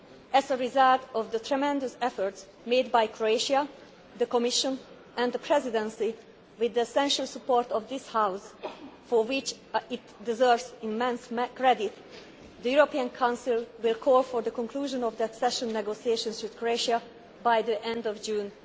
Presidency. As a result of the tremendous efforts made by Croatia, the Commission and the Presidency with the essential support of this House for which it deserves immense credit the European Council will call for the conclusion of the accession negotiations with Croatia by the